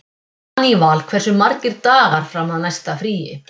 Daníval, hversu margir dagar fram að næsta fríi?